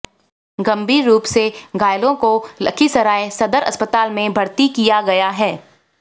गंभीर रूप से घायलों को लखीसराय सदर अस्पताल में भर्ती किया गया है